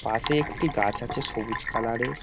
পাশে একটি গাছ আছে সবুজ কালার -এর।